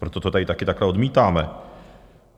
Proto to tady taky takhle odmítáme.